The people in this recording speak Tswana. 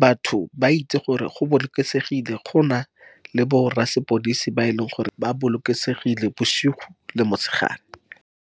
Batho ba itse gore go bolokesegile. Gona le bo rra sepodisi ba e leng gore ba bolokesegile bosigo le motshegare.